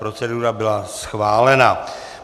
Procedura byla schválena.